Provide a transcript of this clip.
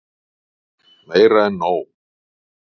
Meira en nóg.